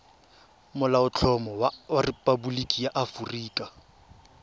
molaotlhomo wa rephaboliki ya aforika